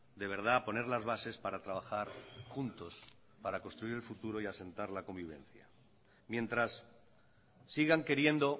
de verdad poner las bases para trabajar juntos para construir el futuro y asentar la convivencia mientras sigan queriendo